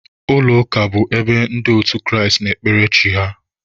Ụlọ ụka bụ ebe ndị otu Kraịst na-ekpere Chi ha